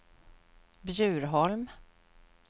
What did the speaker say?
Bjurholm